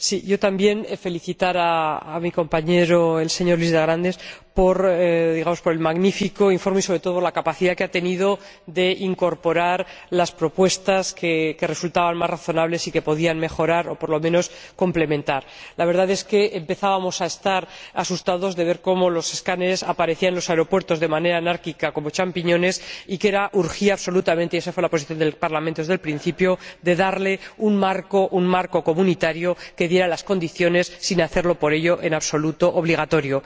Quiero felicitar a mi compañero Luis de Grandes por el magnífico informe y, sobre todo, por la capacidad que ha tenido de incorporar las propuestas que resultaban más razonables y que podían mejorar o, por lo menos, complementar el informe. La verdad es que empezábamos a estar asustados de ver cómo los escáneres aparecían en los aeropuertos de manera anárquica, como champiñones, y que urgía absolutamente —y esa fue la posición del Parlamento desde el principio— darle un marco comunitario que estableciera las condiciones, sin hacerlo, por ello, en absoluto obligatorio.